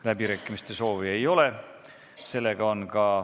Läbirääkimiste soovi ei ole.